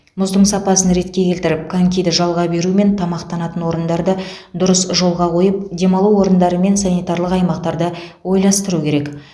мұздың сапасын ретке келтіріп конькиді жалға беру мен тамақтанатын орындарды дұрыс жолға қойып демалу орындары мен санитарлық аймақтарды ойластыру керек